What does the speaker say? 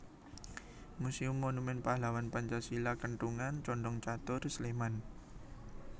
Muséum Monumen Pahlawan Pancasila Kentungan Condongcatur Sleman